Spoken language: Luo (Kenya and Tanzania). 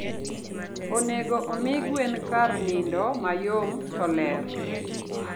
Onego omi gwen kar nindo mayom to ler.